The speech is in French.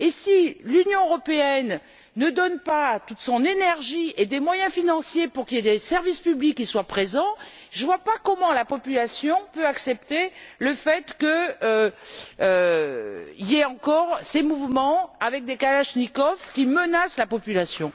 Si l'Union européenne ne consacre pas toute son énergie et des moyens financiers pour qu'il y ait des services publics, je ne vois pas comment la population peut accepter le fait qu'il y ait encore des mouvements avec des kalachnikovs qui menacent la population.